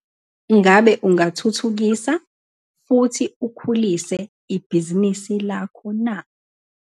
Ngabe ungathuthukisa futhi ukhulise ibhizinisi lakho na?